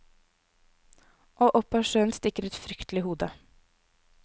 Og opp av sjøen stikker et fryktelig hode.